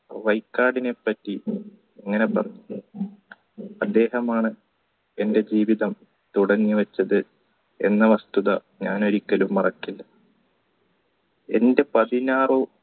വൈകാടിനെ പറ്റി ഇങ്ങനെ പറഞ്ഞു അദ്ദേഹമാണ് എൻറെ ജീവിതം തുടങ്ങിവച്ചത് എന്ന വസ്തുത ഞാൻ ഒരിക്കലും മറക്കില്ല എന്റെ എന്റെ പതിനാറു